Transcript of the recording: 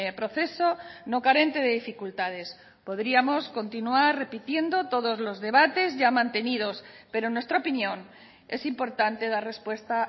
proceso no carente de dificultades podríamos continuar repitiendo todos los debates ya mantenidos pero en nuestra opinión es importante dar respuesta